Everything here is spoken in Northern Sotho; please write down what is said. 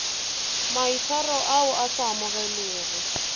maitshwaro ao a sa amogelegego